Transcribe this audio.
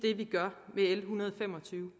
hundrede og fem og tyve